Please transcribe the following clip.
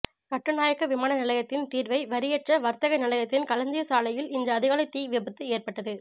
கட்டுநாயக்க விமான நிலையத்தின் தீர்வை வரியற்ற வர்த்தக நிலையத்தின் களஞ்சியசாலையில் இன்று அதிகாலை தீ விபத்து ஏற்பட்ட்து